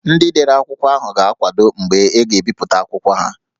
Ndị dere akwụkwọ ahụ ga-akwado mgbe a ga-ebipụta akwụkwọ ha